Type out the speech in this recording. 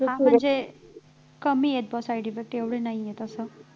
हा म्हणजे कमी आहेत का side effect तेवढे नाही आहेत असं